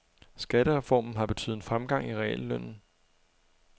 Skattereformen har betydet en fremgang i reallønnen.